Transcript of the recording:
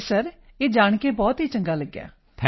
ਜੀ ਸਰ ਇਹ ਜਾਣ ਕੇ ਬਹੁਤ ਚੰਗਾ ਲੱਗਾ ਸਰ